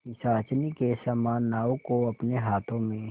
पिशाचिनी के समान नाव को अपने हाथों में